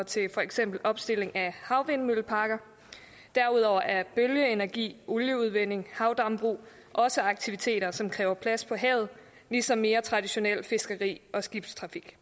til for eksempel opstilling af havvindmølleparker derudover er bølgeenergi olieudvinding havdambrug også aktiviteter som kræver plads på havet ligesom mere traditionelt fiskeri og skibstrafik